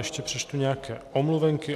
Ještě přečtu nějaké omluvenky.